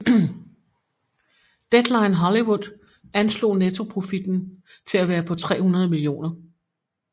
Deadline Hollywood anslog nettoprofitten til at være på 300 mio